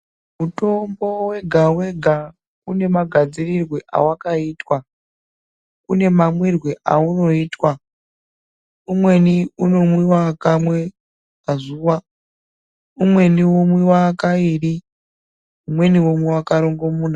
Mutombo wega-wega une magadzirirwe awakaitwa, une mamwirwe aunoitwa. Umweni unomwiwa kamwe pazuwa, umweni womwiwa kairi, umweni womwiwa karongomuna.